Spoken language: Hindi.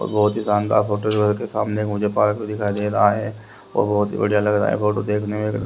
बहुत शानदार फोटो के सामने मुझे पार्क दिखाई दे रहा है और बहुत बढ़िया लग रहा है फोटो देखने में--